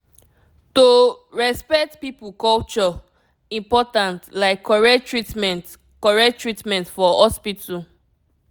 to respect people culture important like correct treatment correct treatment for hospital.